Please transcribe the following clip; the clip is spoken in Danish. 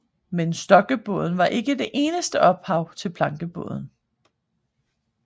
Men stokkebåden var ikke det eneste ophav til plankebåden